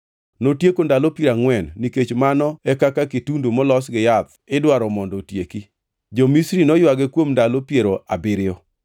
Notieko ndalo piero angʼwen nikech mano e kaka kitundu molos gi yath idwaro mondo otieki. Jo-Misri noywage kuom ndalo piero abiriyo.